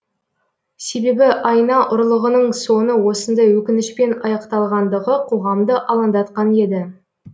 себебі айна ұрлығының соңы осындай өкінішпен аяқталғандығы қоғамды алаңдатқан еді